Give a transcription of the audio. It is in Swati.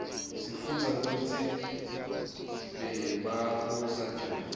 sifundza kutsi bebabusa njani